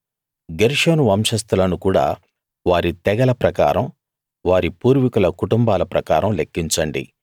గెర్షోను వంశస్తులను కూడా వారి తెగల ప్రకారం వారి పూర్వీకుల కుటుంబాల ప్రకారం లెక్కించండి